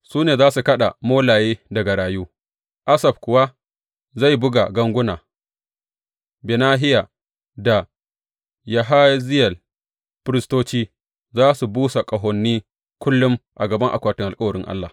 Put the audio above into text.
Su ne za su kaɗa molaye, da garayu, Asaf kuwa zai buga ganguna, Benahiya da Yahaziyel firistoci za su busa ƙahoni kullum a gaban akwatin alkawarin Allah.